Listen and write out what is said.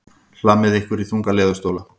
Hlammið ykkur í þunga leðurstóla.